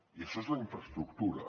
i això és la infraestructura